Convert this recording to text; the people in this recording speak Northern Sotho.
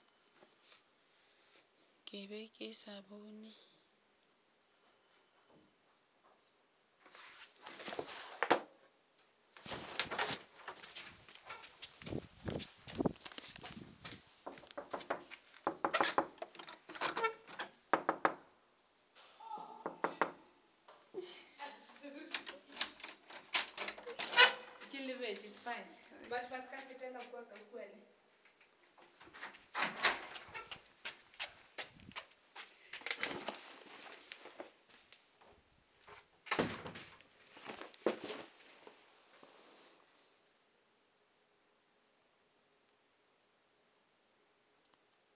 ke be ke sa bone